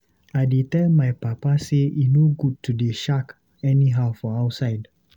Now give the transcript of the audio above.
I dey tell my papa sey e no good to dey shak anyhow for outside.